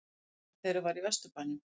Gatan þeirra var í Vesturbænum.